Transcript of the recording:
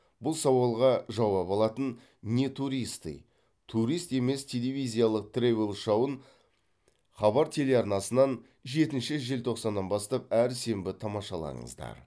бұл сауалға жауап алатын не туристы турист емес телевизиялық тревел шоуын хабар телеарнасынан жетінші желтоқсаннан бастап әр сенбі тамашалаңыздар